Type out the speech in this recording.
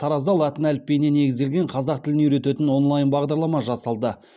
таразда латын әліпбиіне негізделген қазақ тілін үйрететін онлайн бағдарлама жасалды